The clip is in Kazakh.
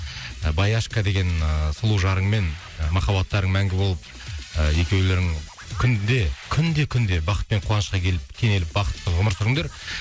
баяшка деген ыыы сұлу жарыңмен махаббаттарың мәңгі болып ы екеулерің күнде күнде күнде бақытпен қуанышқа келіп кенеліп бақытты ғұмыр сүріңдер